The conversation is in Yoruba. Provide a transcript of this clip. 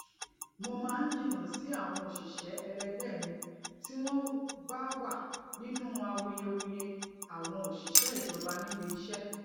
mo máa ń jìnnà sí àwọn òṣìṣẹ ẹlẹgbẹ mi tí wọn bá wà nínú awuyewuye àwọn òṣìṣẹ ìjọba níbi iṣé